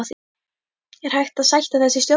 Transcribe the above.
Er hægt að sætta þessi sjónarmið?